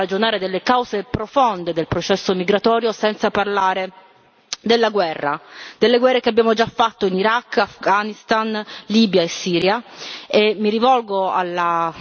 e credo anche che non si possa ragionare delle cause profonde del processo migratorio senza parlare della guerra, delle guerre che abbiamo già fatto in Iraq, Afghanistan, Libia e Siria.